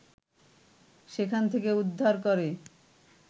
সেখান থেকে উদ্ধার করে